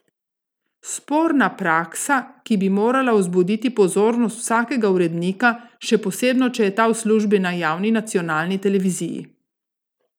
Sporna praksa, ki bi morala vzbuditi pozornost vsakega urednika, še posebno če je ta v službi na javni nacionalni televiziji.